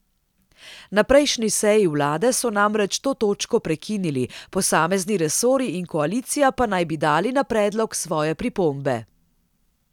Na prejšnji seji vlade so namreč to točko prekinili, posamezni resorji in koalicija pa naj bi dali na predlog svoje pripombe.